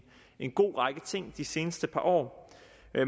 en god række ting de seneste par år